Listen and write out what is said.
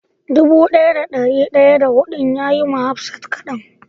Dubu daya da dari daya da hudun ya yi ma hafsat kadan.